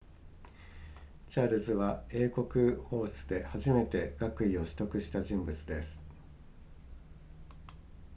チャールズは英国王室で初めて学位を取得した人物です